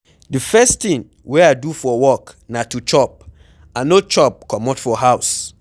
The first thing wey I do for work na to chop, I no chop comot for house